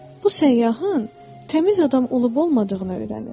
Bu səyyahın təmiz adam olub-olmadığını öyrənir.